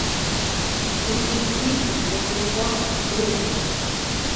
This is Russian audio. переведи деньги на телефон другу